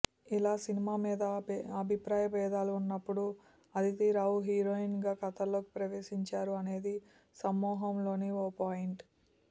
ఇలా సినిమా మీద అభిప్రాయ బేధాలు ఉన్నప్పుడు అదితిరావు హీరోయిన్గా కథలోకి ప్రవేశించారు అనేది సమ్మోహనంలోని ఓ పాయింట్